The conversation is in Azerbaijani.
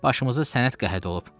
Başımızı sənət qəhət olub.